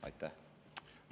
Aitäh!